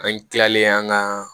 An kilalen an ga